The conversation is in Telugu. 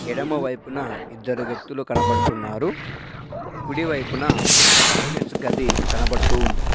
ఎడమ వైపున ఇద్దరు వ్యక్తులు కనబడుతున్నారు. కుడి వైపున టాయిలెట్స్ గది కనబడుతూ ఉంది.